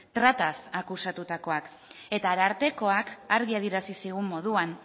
trataz akusatutakoak eta arartekoak argi adierazi zigun moduan